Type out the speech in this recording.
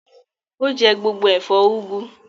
Ó jẹ gbogbo ẹ̀fọ́ úgú.